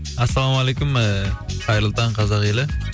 ассалаумалейкум ііі қайырлы таң қазақ елі